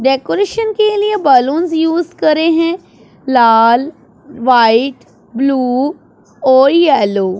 decoration के लिए balloons use करें हैं लाल व्हाइट ब्लू और येलो --